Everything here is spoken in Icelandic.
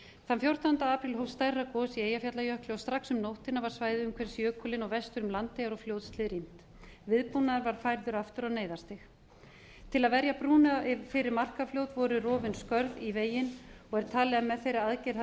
þann fjórtánda apríl hófst stærra gos í eyjafjallajökli og strax um nóttina var svæðið umhverfis jökulinn og vestur um landeyjar og fljótshlíð rýmt viðbúnaður var færður aftur á neyðarstig til að verja brúna yfir markarfljót voru rofin skörð í veginn og er talið að með þeirri aðgerð